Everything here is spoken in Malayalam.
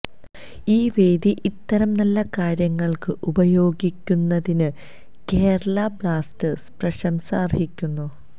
ഈ വേദി ഇത്തരം നല്ല കാര്യങ്ങള്ക്ക് ഉപയോഗിക്കുന്നതിന് കേരള ബ്ലാസ്റ്റേഴ്സ് പ്രശംസ അര്ഹിക്കുന്നു